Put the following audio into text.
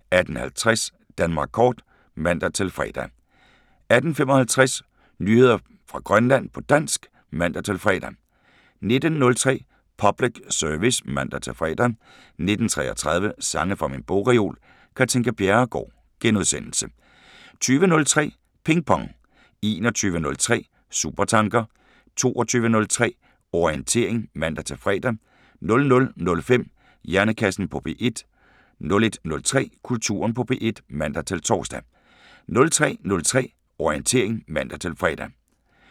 18:50: Danmark kort (man-fre) 18:55: Nyheder fra Grønland på dansk (man-fre) 19:03: Public Service (man-fre) 19:33: Sange fra min bogreol – Katinka Bjerregaard * 20:03: Ping Pong 21:03: Supertanker 22:03: Orientering (man-fre) 00:05: Hjernekassen på P1 01:03: Kulturen på P1 (man-tor) 03:03: Orientering (man-fre)